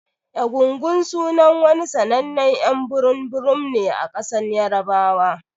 Egungun sunan wani sannanen y'an burum burum ne a kasan yarbawa.